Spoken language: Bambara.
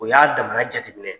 O y'a damana jateminɛ